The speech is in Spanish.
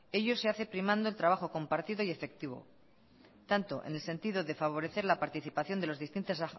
ello se hace primando el trabajo compartido y efectivo tanto en el sentido de favorecer la participación de los